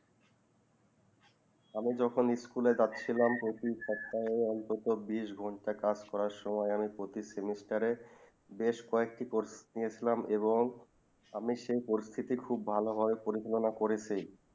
আমি যখন স্কুলে যাচ্ছিলাম প্রতি সপ্তাহে অন্তত বিস্ ঘন্টা কাজ করা সময়ে আমি প্রতি semester বেশ কয়ে একটি course নিয়ে ছিলাম এবং আমি সেই course খুব ভালো ভাবে পরিচালনা করেছি